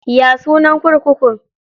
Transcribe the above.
Ya sunan kurkukun?